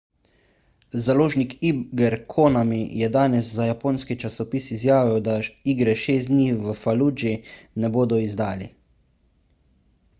založnik iger konami je danes za japonski časopis izjavil da igre šest dni v faludži ne bodo izdali